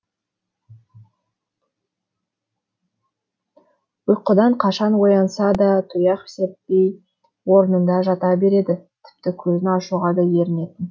ұйқыдан қашан оянса да тұяқ серіппей орнында жата береді тіпті көзін ашуға да ерінетін